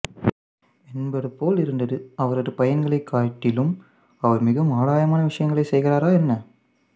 என்பது போல் இருந்தது அவரது பையன்களைக் காட்டிலும் அவர் மிகவும் ஆதாயமான விஷயங்களைச் செய்கிறாரா என்ன